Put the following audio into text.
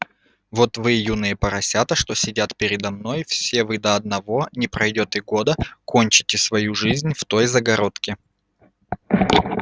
вот вы юные поросята что сидят передо мной все вы до одного не пройдёт и года кончите свою жизнь в той загородке